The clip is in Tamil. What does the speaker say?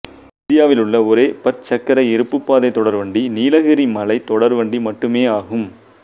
இந்தியாவிலுள்ள ஒரே பற்சக்கர இருப்புப்பாதை தொடர்வண்டி நீலகிரி மலை தொடர்வண்டி மட்டுமேயாகும்